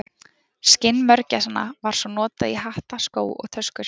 Skinn mörgæsanna var svo notað í hatta, skó og töskur.